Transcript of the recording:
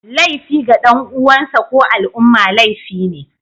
Laifi ga dan uwansa ko al'umma laifi ne